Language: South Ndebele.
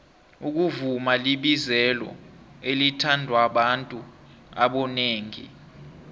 ukuvuma libizelo elithandwababantu abonengi